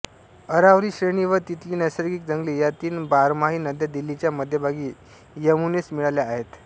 अरावली श्रेणी व तिथली नैसर्गिक जंगले या तीन बारमाही नद्या दिल्लीच्या मध्यभागी यमुनेस मिळाल्या आहेत